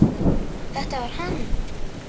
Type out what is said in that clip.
Þetta var hann!